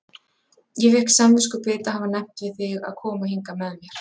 Ég fékk samviskubit að hafa nefnt við þig að koma hingað með mér